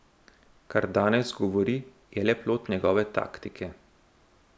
Kar danes govori, je le plod njegove taktike.